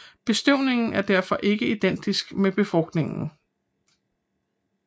Bestøvningen er derfor ikke identisk med befrugtningen